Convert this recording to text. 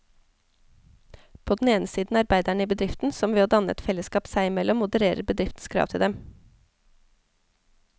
På den ene side arbeiderne i bedriften, som ved å danne et fellesskap seg imellom modererer bedriftens krav til dem.